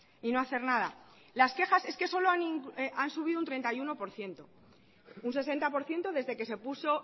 y no hacer nada las quejas es que solo han subido un treinta y uno por ciento un sesenta por ciento desde que se puso